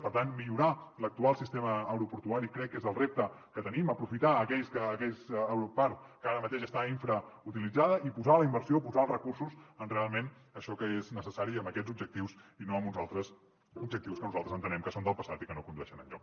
per tant millorar l’actual sistema aeroportuari crec que és el repte que tenim aprofitar aquella part que ara mateix està infrautilitzada i posar la inversió posar els recursos en realment això que és necessari amb aquests objectius i no amb uns altres objectius que nosaltres entenem que són del passat i que no condueixen enlloc